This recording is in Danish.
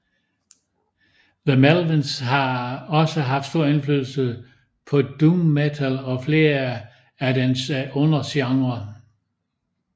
The Melvins har også haft stor indflydelse på doom metal og flere af dens undergenrer